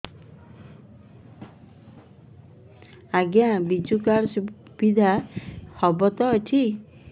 ଆଜ୍ଞା ବିଜୁ କାର୍ଡ ସୁବିଧା ହବ ତ ଏଠି